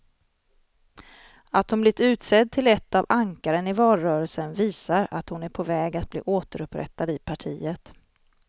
Att hon blivit utsedd till ett av ankaren i valrörelsen visar att hon är på väg att bli återupprättad i partiet.